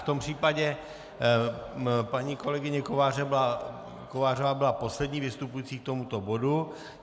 V tom případě paní kolegyně Kovářová byla poslední vystupující k tomuto bodu.